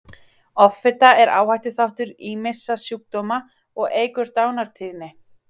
Offita er áhættuþáttur ýmissa sjúkdóma og eykur dánartíðni.